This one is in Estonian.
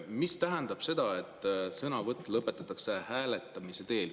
Mida tähendab see, et sõnavõtt lõpetatakse hääletamise teel?